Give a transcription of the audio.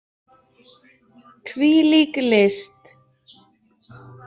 Hvílík list!